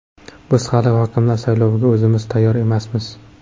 Biz hali hokimlar sayloviga o‘zimiz tayyor emasmiz.